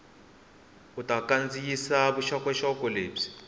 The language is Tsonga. u ta kandziyisa vuxokoxoko lebyi